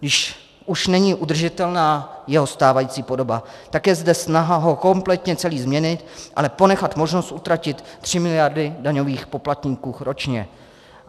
Když už není udržitelná jeho stávající podoba, tak je zde snaha ho kompletně celý změnit, ale ponechat možnost utratit tři miliardy daňových poplatníků ročně.